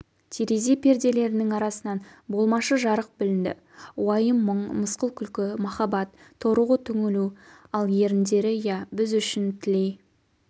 терезе перделерінің арасынан болмашы жарық білінді уайым-мұң мысқыл-күлкі махаббат торығу-түңілу ал еріндері иә біз үшін тілей